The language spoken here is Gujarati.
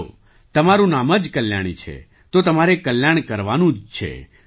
ચાલો તમારું નામ જ કલ્યાણી છે તો તમારે કલ્યાણ કરવાનું જ છે